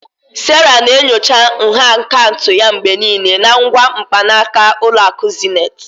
Sarah na-enyocha nha akaụntụ ya mgbe niile na ngwa mkpanaka Ụlọ akụ Zenith